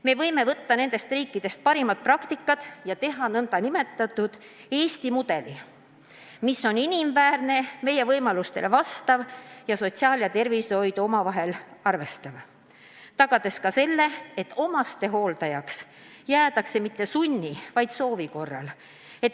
Me võime võtta nendest riikidest parimad praktikad ja teha Eesti mudeli, mis on inimväärne, meie võimalustele vastav ning sotsiaaltööd ja tervishoidu omavahel ühendav, tagades ka selle, et lähedase hooldajaks ei jääda mitte sunni, vaid soovi korral.